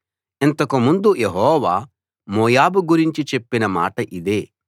ఇంతకు ముందు Jehovah Moab గురించి చెప్పిన మాట ఇదే